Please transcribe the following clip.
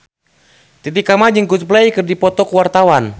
Titi Kamal jeung Coldplay keur dipoto ku wartawan